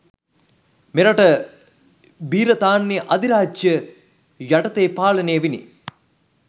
මෙරට බි්‍රතාන්‍ය අධිරාජ්‍යය යටතේ පාලනය විණි